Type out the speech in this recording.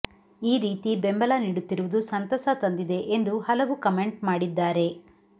ಈ ರೀತಿ ಬೆಂಬಲ ನೀಡುತ್ತಿರುವುದು ಸಂತಸ ತಂದಿದೆ ಎಂದು ಹಲವು ಕಮೆಂಟ್ ಮಾಡಿದ್ದಾರೆ